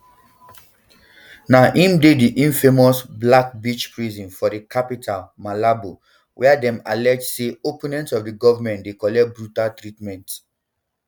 now im dey di infamous black beach prison for di capital malabo wia dem allege say opponents of goment dey collect brutal treatment